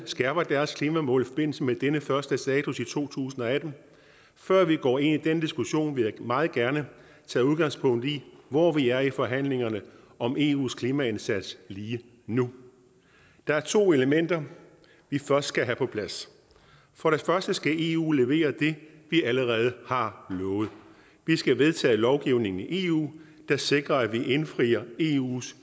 skærper deres klimamål i forbindelse med denne første status i to tusind og atten før vi går ind i den diskussion vil jeg meget gerne tage udgangspunkt i hvor vi er i forhandlingerne om eus klimaindsats lige nu der er to elementer vi først skal have på plads for det første skal eu levere det vi allerede har lovet vi skal vedtage lovgivning i eu der sikrer at vi indfrier eus